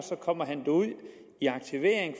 kommer han ud i aktivering